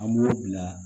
An b'o bila